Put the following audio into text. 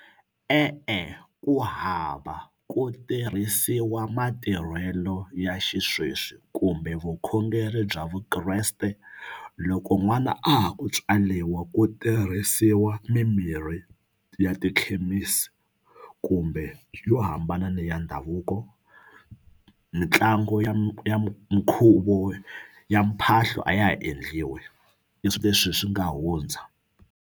E-e ku hava ku tirhisiwa matirhelo ya xisweswi kumbe vukhongeri bya Vukreste loko n'wana a ha ku tswaliwa ku tirhisiwa mimirhi ya tikhemisi kumbe yo hambana ni ya ndhavuko mitlangu ya ya mukhuvo ya mphahlo a ya ha endliwi i swi leswi swi nga hundza.